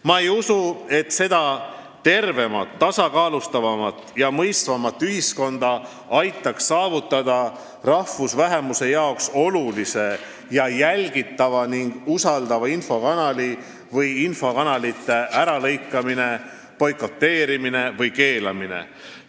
Ma ei usu, et seda tervemat, tasakaalustavamat ja mõistvamat ühiskonda aitaks saavutada rahvusvähemuse jaoks olulise, jälgitava ja usaldatava infokanali äralõikamine, boikoteerimine või keelamine.